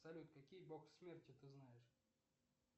салют какие бог смерти ты знаешь